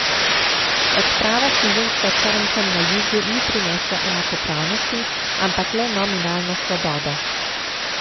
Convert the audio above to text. Odprava suženjstva črncem na jugu ni prinesla enakopravnosti, ampak le nominalno svobodo.